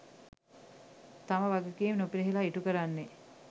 තම වගකීම් නොපිරිහෙළා ඉටු කරන්නේ.